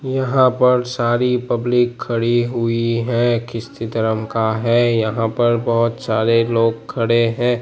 यहां पर सारी पब्लिक खड़ी हुई है धर्म का है यहां पर बहोत सारे लोग खड़े हैं।